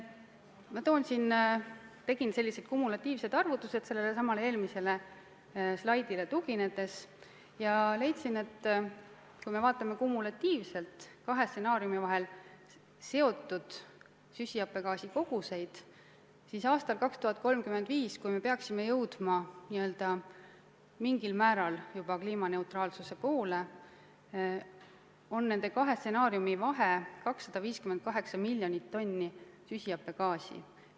Ma tegin sellelesamale eelmisele slaidile tuginedes kumulatiivsed arvutused ja leidsin, et kui me vaatame kumulatiivselt kahe stsenaariumi korral seotud süsihappegaasi koguseid, siis aastal 2035, kui me peaksime jõudma mingil määral juba kliimaneutraalsuse staadiumi, on nende kahe stsenaariumi vahe 258 miljonit tonni süsihappegaasi.